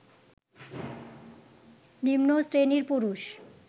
নিম্নশ্রেণীর পুরুষ